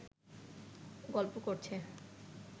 গল্প করছে